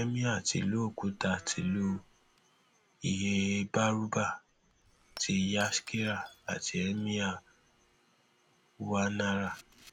emir tìlú òkúta tìlú ilhéhàbárúbà ti yashkira àti emir gwanára